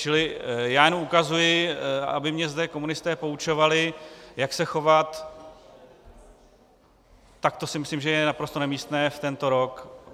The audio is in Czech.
Čili já jenom reaguji, aby mě zde komunisté poučovali, jak se chovat, tak to si myslím, že je naprosto nemístné v tento rok.